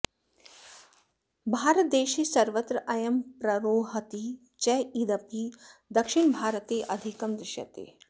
भारतदेशे सर्वत्र अयं प्ररोहति चेदपि दक्षिणभारते अधिकं दृश्यते